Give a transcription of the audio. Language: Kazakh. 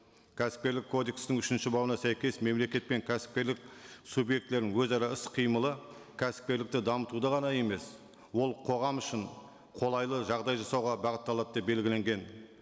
кәсіпкерлік кодекстің үшінші бабына сәйкес мемлекет пен кәсіпкерлік субъектілерінің өзара іс қимылы кәсіпкерлікті дамытуды ғана емес ол қоғам үшін қолайлы жағдай жасауға бағытталады деп белгіленген